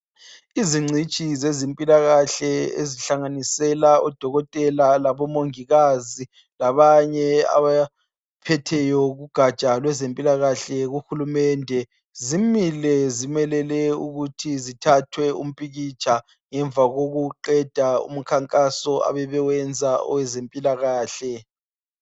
Izingcitshi zezimpilakahle, ezihlanganisela odokotela, labomongikazi. Labanye abaphetheyo kugaja lwezempilakahle, kuhulumende. Zimile, zimelele ukuthi zithathwe umpikitsha ngemva kokuqeda umkhankaso, abebewenza kwezempilakahle.